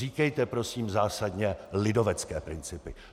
Říkejte prosím zásadně lidovecké principy!